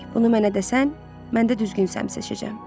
Bunu mənə desən, mən də düzgün səmt seçəcəm.